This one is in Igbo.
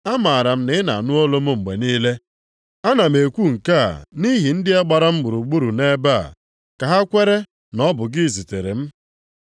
Amaara m na ị na-anụ olu m mgbe niile. Ana m ekwu nke a nʼihi ndị a gbara m gburugburu nʼebe a, ka ha kwere na ọ bụ gị zitere m.”